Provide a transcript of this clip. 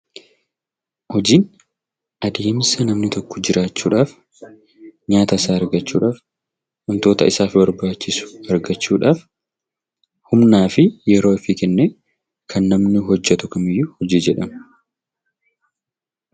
Hojiin adeemsa namni tokko jiraachuudhaaf, nyaata isaa argachuudhaaf, wantoota isaaf barbaachisu argachuudhaaf humnaa fi yeroo ofii kennee kan namni hojjetu kamiyyuu hojii jedhama.